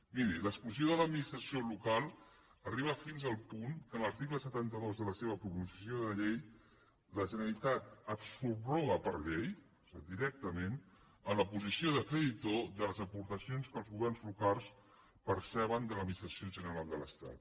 miri l’exclusió de l’administració local arriba fins al punt que en l’article setanta dos de la seva proposició de llei la generalitat es subroga per llei directament en la posició de creditor de les aportacions que els governs locals perceben de l’administració general de l’estat